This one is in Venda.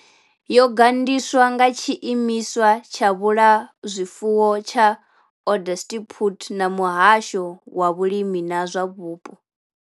Yo gandiswa nga tshiimiswa tsha vhulafhazwifuwo tsha Onderstepoort na muhasho wa vhulimi na zwa vhupo.